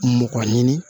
Mɔgɔ ɲini